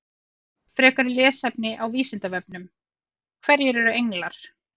Frekara lesefni á Vísindavefnum: Hverjir eru englar?